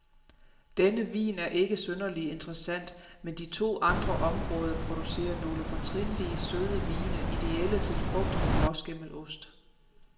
Denne vin er ikke synderlig interessant, men de to andre områder producerer nogle fortrinlige, søde vine, idéelle til frugt og blåskimmelost.